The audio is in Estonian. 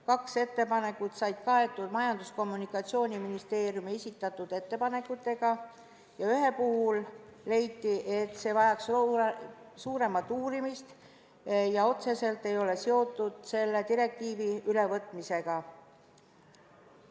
Kaks ettepanekut said kaetud Majandus- ja Kommunikatsiooniministeeriumi esitatud ettepanekutega ning ühe puhul leiti, et see vajaks suuremat uurimist ja see pole otseselt selle direktiivi ülevõtmisega seotud.